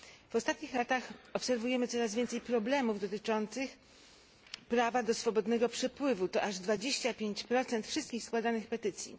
W ostatnich latach obserwujemy coraz więcej problemów dotyczących prawa do swobodnego poruszania się to aż 25 wszystkich składanych petycji.